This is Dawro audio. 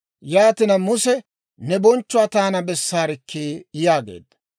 Yaatina Muse, «Ne bonchchuwaa taana bessaarikkii?» yaageedda.